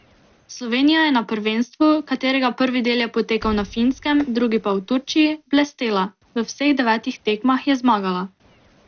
Slovenija je na prvenstvu, katerega prvi del je potekal na Finskem, drugi pa v Turčiji, blestela, v vseh devetih tekmah je zmagala.